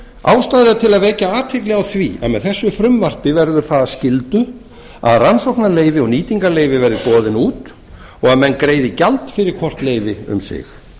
ástæða er til að vekja athygli á því að með þessu frumvarpi verður það að skyldu að rannsóknarleyfi og nýtingarleyfi verði boðin út og menn greiði gjald fyrir hvort leyfi um sig